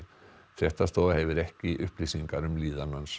fréttastofa hefur ekki upplýsingar um líðan hans